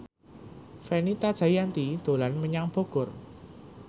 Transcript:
Fenita Jayanti dolan menyang Bogor